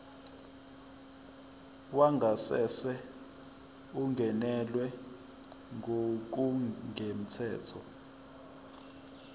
wangasese ungenelwe ngokungemthetho